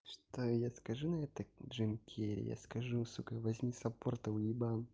что я скажу на это джим керри я скажу сука возьми саппорта уебан